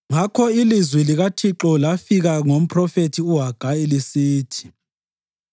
Ngakho ilizwi likaThixo lafika ngomphrofethi uHagayi lisithi: